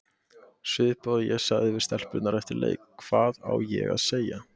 Svipað og ég sagði við stelpurnar eftir leik, hvað á ég að segja?